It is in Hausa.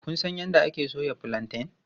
Kun san yadda ake soya fulanten?